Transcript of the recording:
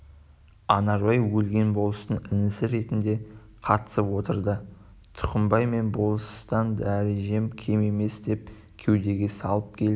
анарбай өлген болыстың інісі ретінде қатысып отыр да тұқымбай мен болыстан дәрежем кем емес деп кеудеге салып келіп